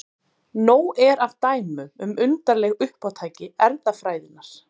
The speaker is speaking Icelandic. Nóg er af dæmum um undarleg uppátæki erfðafræðinnar.